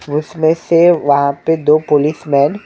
उसमें से वहाँ पे दो पुलिस मैन --